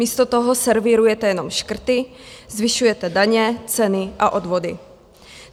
Místo toho servírujete jenom škrty, zvyšujete daně, ceny a odvody.